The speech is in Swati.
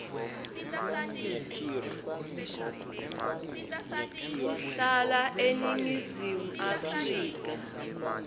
kuhlala eningizimu afrika